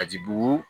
A ji bugu